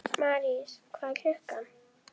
Marís, hvað er klukkan?